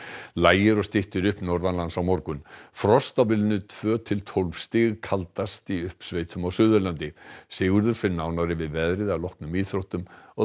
lægir og styttir upp norðanlands á morgun frost á bilinu tvö til tólf stig kaldast í uppsveitum á Suðurlandi Sigurður fer nánar yfir veðrið strax að loknum íþróttum